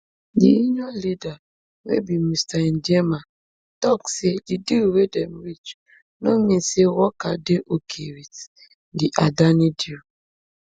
di union leader wey be mr ndiema tok say di deal wey dem reach no mean say worker dey okay wit di adani deal